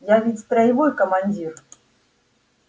я ведь строевой командир